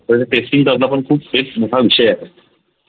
पहिले testing चालतं पण खूप एक मोठा विषय आहे ते